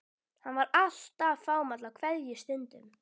Hann var alltaf fámáll á kveðjustundum.